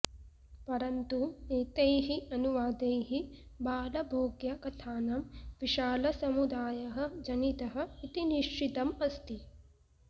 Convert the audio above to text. परन्तु एतैः अनुवादैः बालभोग्यकथानां विशालसमुदायः जनितः इति निश्चितम् अस्ति